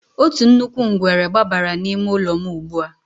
Otu nnukwu ngwere gbabara n'ime ụlọ m ugbu a.